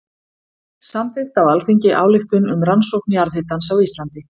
Samþykkt á Alþingi ályktun um rannsókn jarðhitans á Íslandi.